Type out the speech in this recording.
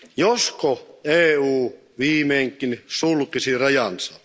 Josko EU viimeinkin sulkisi rajansa.